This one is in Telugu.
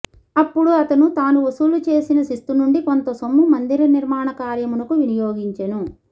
అప్పుడు అతను తాను వసూలు చేసిన శిస్తునుండి కొంతసొమ్ము మందిరనిర్మాణ కార్యమునకు వినియోగించెను